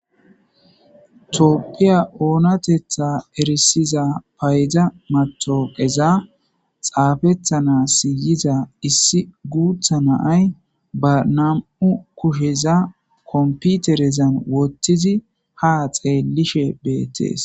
tooppiya oonatetha erisiza payda matoqeza xaafethana siyiza issi guutha naay ba nam7u kusheza komputerezan wottizi ha xeelishe beettees